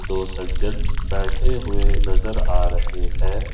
दो सज्जन बैठे हुए नज़र आ रहे हैं।